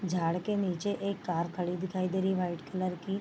झाड़ के निचे एक कार खड़ी दिखाई दे रही है वाइट कलर की।